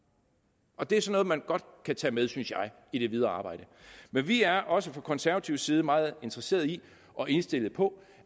det er sådan noget man godt kan tage med synes jeg i det videre arbejde men vi er også fra konservativ side meget interesseret i og indstillet på